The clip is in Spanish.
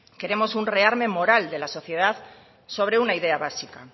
queremos un rearme moral de la sociedad sobre una idea básica